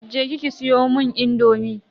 Je ki ki siyomun indomi.